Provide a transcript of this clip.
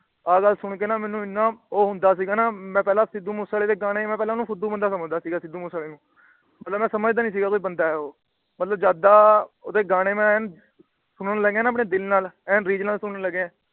ਆਹ ਗੱਲ ਸੁਨ ਕੇ ਨਾ ਮੈਨੂੰ ਏਨਾ ਉਹ ਹੁੰਦਾ ਸੀ ਗਾ ਨਾ। ਮੈ ਪਹਿਲਾ ਸਿੱਧੂ ਮੂਸੇਵਾਲੇ ਦੇ ਗਾਣੇ ਫੁੱਦੂ ਬੰਦਾ ਸਮਝਦਾ ਸੀ ਸਿੱਧੂ ਮੂਸੇਵਾਲੇ ਨੂੰ। ਪਹਿਲਾ ਮੈ ਸਮਝਦਾ ਈ ਨਹੀਂ ਸੀ ਗਾ ਵੀ ਉਹ ਬੰਦਾ ਏ। ਜਦ ਦਾ ਮੈ ਉਹਦੇ ਗਾਣੇ ਮੈ ਸੁਨਣ ਲੱਗਿਆ ਨਾ ਦਿਲ ਨਾਲ ਏ ਰੀਝ ਨਾਲ ਸੁਨਣ ਲੱਗਿਆ ।